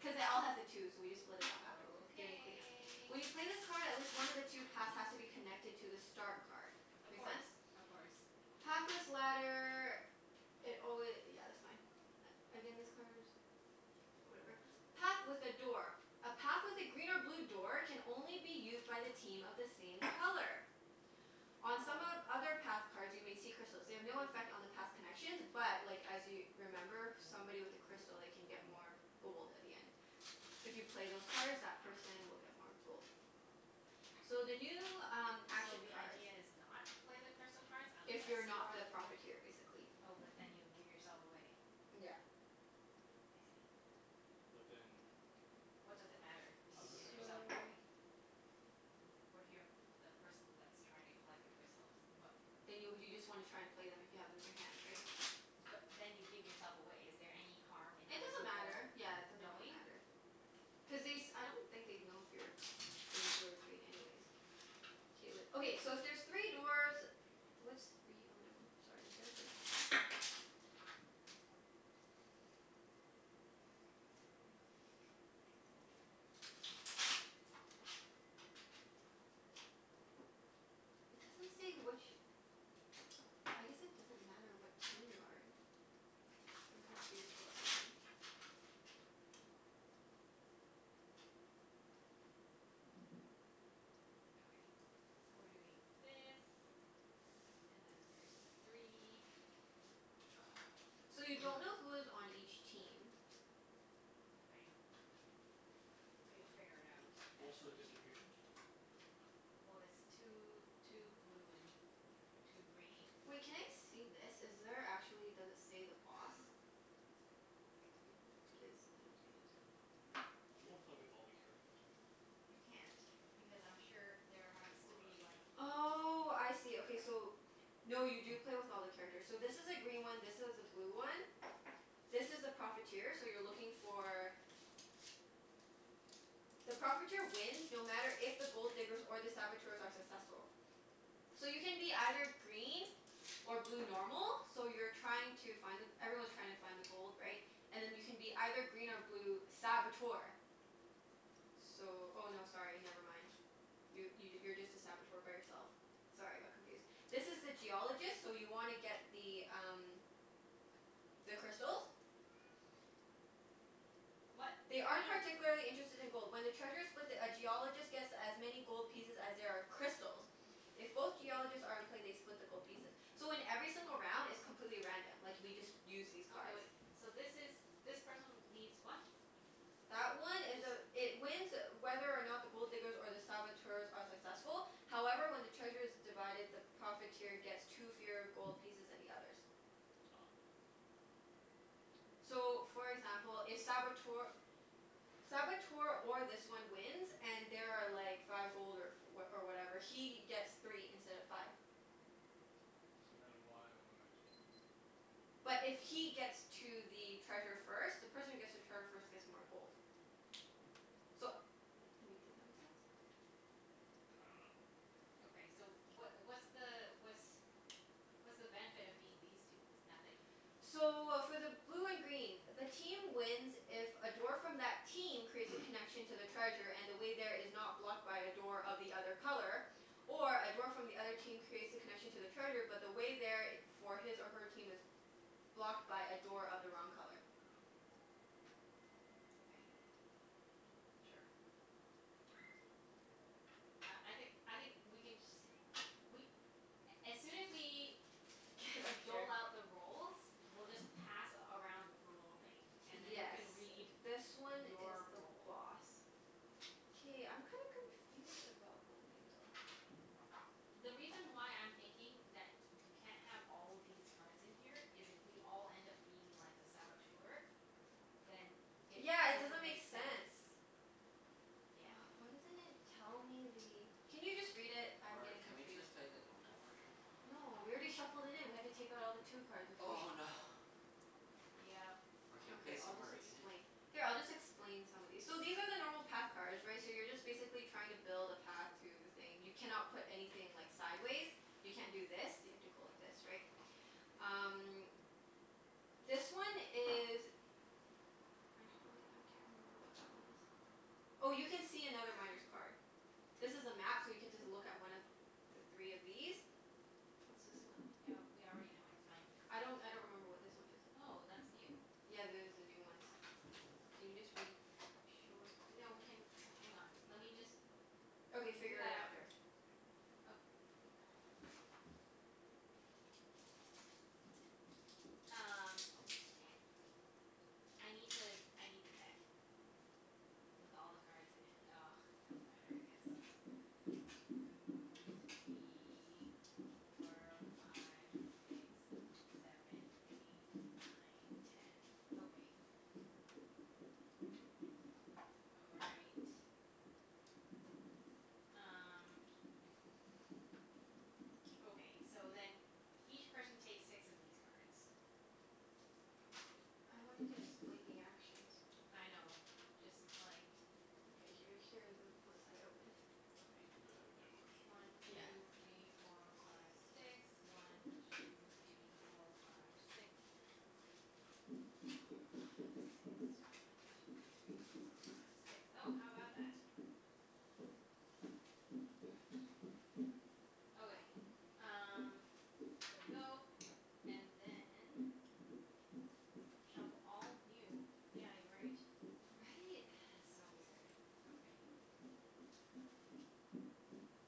Cuz it all has a two, so we just split it up afterward during clean-up. Okay. When you play this card at least one of the two paths has to be connected to the start card. Of Make course. sense? Of course. Pathless ladder It alwa- yeah, that's fine. A- again, this card Whatever. Path with a door. A path with a green or blue door can only be used by the team of the same color. On some of Oh. other path cards you may see crystals. They have no affect on the path connections but like, as you remember somebody with a crystal, they can get more gold at the end. If you play those cards that person will get more gold. So, the new um So action the cards. idea is not to play the crystal cards unless If you you're not are the the pr- Profiteer, basically. Oh, but then you give yourself away. Yeah. I see. But then how What does it matter if you does it give affect other yourself people? So away? What if you're a p- the person that's trying to collect the crystals? What Then you w- you just wanna try and play them if you have them in your hand, right? But then you give yourself away. Is there any harm in It other doesn't people matter. Yeah, it doesn't really knowing? matter. Cuz they s- I don't think they'd know if you're being blue or green anyways. K, wait. Okay, so if there's three dwarfs What's three oh, nevermi- Sorry, I'm trying to figure out Jaw jaw jaw. It doesn't say which I guess it doesn't matter what team you're in. I'm confused about something. Okay. So, we're doing this and then there's the three. So, you don't know who is on each team. Okay. But you'll figure it out What's the eventually. distribution? Well it's two two blue and two green. Wait, can I see this? Is there actually, does it say the Boss? This, I don't get it. We don't play with all the characters, do we? You can't. Because I'm sure there There's only has four to of us. be like Oh, I see. Okay, so No, you do play with all the characters. So this is a green one, this is a blue one. This is the Profiteer, so you're looking for The Profiteer wins no matter if the Gold Diggers or the Saboteurs are successful. So you can be either green or blue normal. So you're trying to find the, everyone's trying to find the gold, right? And then you can be either green or blue Saboteur. So, oh no, sorry, never mind. You y- you're just a Saboteur by yourself. Sorry, I got confused. This is the Geologist, so you wanna get the um the crystals. What? They They are aren't no particularly interested in gold. When the treasure's split, the a Geologist gets as many gold pieces as there are crystals. If both Geologists are in play, they split the gold pieces. So, in every single round it's completely random. Like, we just use these cards. Okay, wait. So this is, this person needs what? That one It, is a this It wins whether or not the Gold Diggers or the Saboteurs are successful. However, when the treasure's divided, the Profiteer gets two fewer gold pieces than the others. Ah. So, for example, if Saboteur Saboteur or this one wins and there are like five gold or f- oh or whatever he gets three instead of five. So, then why would oh, I But don't know. if he gets to the treasure first The person who gets to trevor first gets more gold. So wait, does that make sense? I dunno. Okay, so what what's the what's what's the benefit of being these two? Nothing? So, for the blue and green the team wins if a dwarf from that team creates a connection to the treasure and the way there is not blocked by a door of the other color. Or a dwarf from the other team creates the connection to the treasure but the way there i- for his or her team is blocked by a door of the wrong color. Okay. Sure. Uh, I think I think we can just we as soon as we dole out the roles we'll just pass around the rule thing. And then you Yes, can read this one is your the role. Boss. K, I'm kinda confused about one thing though. The reason why I'm thinking that you c- can't have all these cards in here is if we all end up being like, the Saboteur then it Yeah, it doesn't doesn't make make sense. sense. Yeah. Oh, why doesn't it tell me the Can you just read it? I'm Or getting can we confused. just play the normal version? No, we already shuffled it in. We have to take out all the two cards if we Oh no. Yep. Or can we Okay, play I'll just submarine? explain Here, I'll just explain some of these. So, these are the normal path cards right? So you're just basically trying to build a path to the thing. You cannot put anything like, sideways. You can't do this. You have to go like this, right? Um this one is Actually, I can't remember what that one is. Oh, you can see another Miner's card. This is a map so you get to z- look at one of the three of these. What's this one? Yeah, we already know. That's fine. I don't I don't remember what this one is. Oh, that's new. Yeah, there's the new ones. Can you just read Show us what the new No, ones can, hang on. Let me just Okay, We'll do figure that it out after. first. Oka- Um, h- I need to, I need the deck. With all the cards in it. Doesn't matter I guess. Two three four five six seven eight nine ten. Okay. All right. Um Okay, so then each person takes six of these cards. I wanted to explain the actions. I know. Just like Okay. Here here are the ones that I opened. Okay. We'll just have a demo game. One Yeah. two three four five six. One two three four five six. One two three four five six. One two three four five six. Oh, how about that? Nice. Okay, um there we go. And then shuffle all new, yeah, you're right. Right? It's so weird. Okay.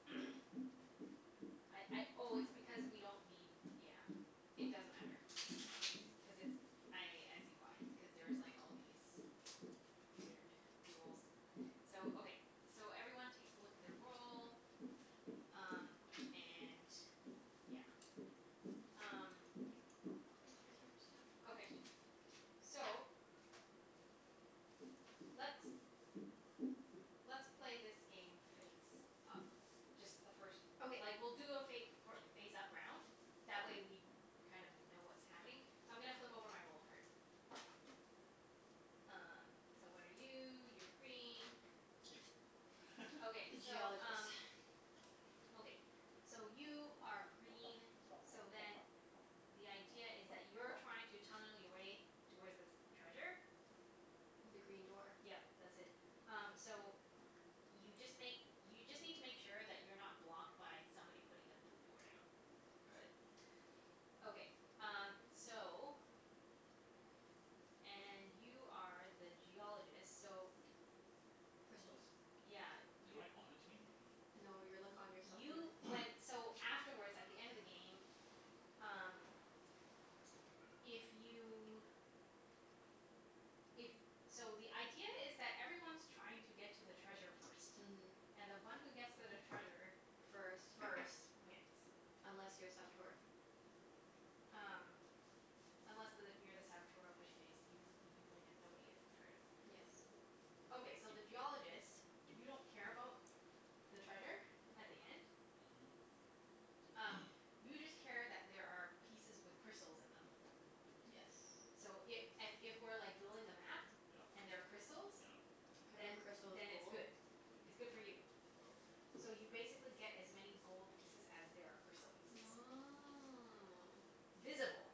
I I oh, it's because we don't need, yeah. It doesn't matter. Cuz it's, I I see why. Because there's like, all these weird rules. So, okay. So, everyone takes a look at their role. Um, and yeah. Um Hope these are sample cards Okay. too. So let's let's play this game face up. Just the first Okay. Like we'll do a fa- for face up round. That way we kind of know what's happening. So, I'm gonna flip over my role card. Um, so what are you? You're green. Yay. Okay, so Geologist. um Okay. So, you are green, so then the idea is that you're trying to tunnel your way towards this treasure. With a green door. Yep. That's it. Um, so y- you just make, you just need to make sure that you're not blocked by somebody putting a blue door down. That's K. it. Okay. Um, so and you are the Geologist, so Y- Crystals. yeah. Am I You're u- on a team, or no? No, you're like on your Y- you went, so afterwards, at the end of the game Um if you If, so the idea is that everyone's trying to get to the treasure first. Mhm. And the one who gets to the treasure First. first wins. Unless you're a Saboteur. Um Unless the, you're the Saboteur in which case you you win if nobody gets the treasure. Yes. Okay, so the Geologist you don't care about the treasure at the end. Mhm. Um, you just care that there are pieces with crystals in them. Yes. So i- a- if we're like building the map Yep. and there are crystals Yep. Every then Yep. crystal is then it's gold. good. It's Okay. good for you. Okay. So you basically get as many gold pieces as there are crystal pieces. Oh. Visible.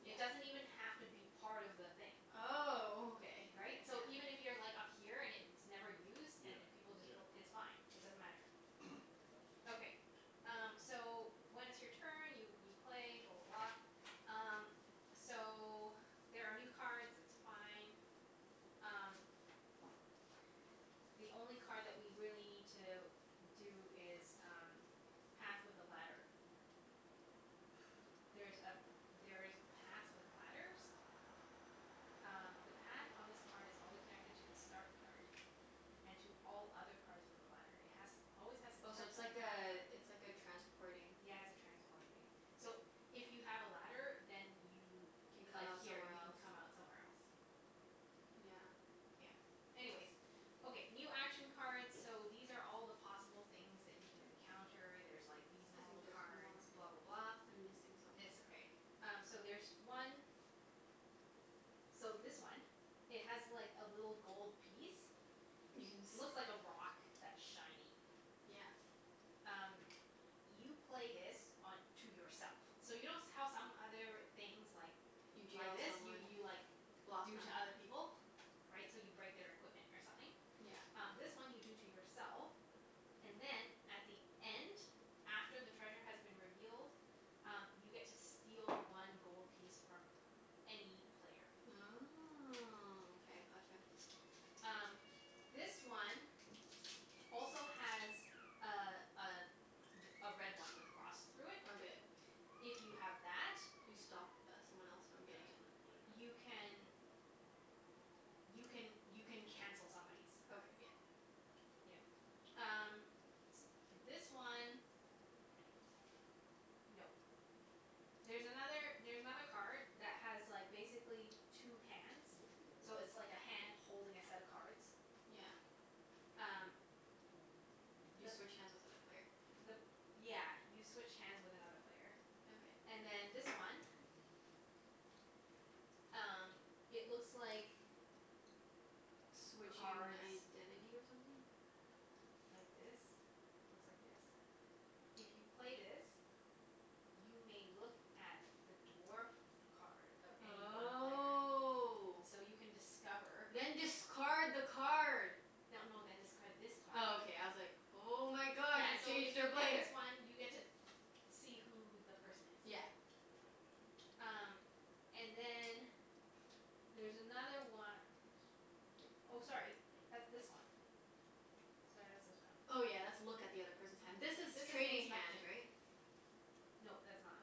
Yeah. It doesn't even have to be part of the thing. Oh, okay okay, Right? So yeah. even if you're like up here and it's never used Yeah. and if people Yeah, just built, yeah. it's fine. It doesn't matter. Okay. Um, so when it's your turn, you you play, blah blah blah. Um, so there are new cards. It's fine. Um the only card that we really need to do is um path with a ladder. There's a, there's paths with ladders. Um, the path on this card is always connected to the start card. And to all other cards with a ladder. It has always has to Oh, so touch it's a path like a, card. it's like a transporting Yeah, it's a transporting thing. So, if you have a ladder then you Can if come like, out here, somewhere you can else. come out somewhere else. Yeah. Yeah. Anyways Okay, new action cards So, these are all the possible things that you can encounter. There's like these I think normal there's cards. more. Blah blah blah. I'm missing some. It's okay. Um, so there's one So, this one it has like, a little gold piece. You can s- Looks like a rock that's shiny. Yeah. Um, you play this on to yourself. So you know s- how some other things like You like deal to this? You someone. you like Block them. do to other people? Right? So you break their equipment or something? Yeah. Um, this one you do to yourself. And then at the end after the treasure has been revealed um, you get to steal one gold piece from any player. Oh, okay. Gotcha. Um, this one also has a a r- a red one with a cross through it. Okay. If you have that You stop th- someone else from You getting cancel it. it, I you guess. can you can, you can cancel somebody's. Okay, yeah. Yeah. Um S- this one No. There's another, there's another card that has like, basically two hands. So it's like a hand holding a set of cards. Yeah. Um You The switch hands with other player. the p- yeah, you switch hands with another player. Okay. And then this one Um, it looks like Switch cards your identity or something? like this. Looks like this. If you Mkay. play this you may look at the dwarf card of any one player. Oh. So you can discover Then discard the card! No no, then discard this Oh, card. okay. I was like Oh my god, Yeah, so if you play this one you get to see who the person is. Yeah. Okay. Um, and then there's another one Oh, sorry. That's this one. Sorry, that's Oh. this one. Oh yeah, that's look at the other person's hand. This This is is trading inspection. hands, right? No, that's not.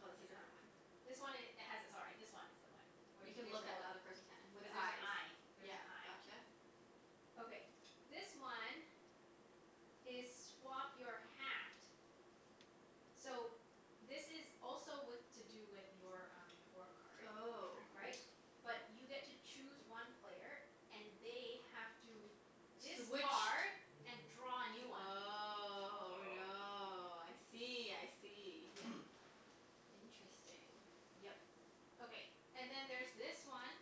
Oh, it's a It's not. different one. This one i- has it, sorry, this one is the one. Where You you can get to look at look the other person's hand. With Cuz there's an eyes. eye. There's Yeah, an eye. gotcha. Okay, this one is swap your hat. So, this is also with, to do with your um, dwarf card. Oh. Trade rules? Right? But you get to choose one player and they have to Switch discard and draw a new one. Oh Oh. no. I see, I see. Yeah. Interesting. Yep. Okay. And then there's this one.